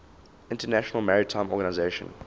international maritime organization